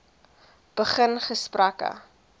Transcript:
begin gesprekke